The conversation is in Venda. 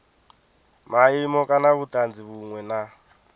maimo kana vhutanzi vhunwe na